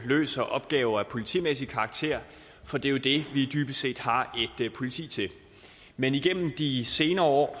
løser opgaver af politimæssig karakter for det er jo det vi dybest set har et politi til men igennem de senere år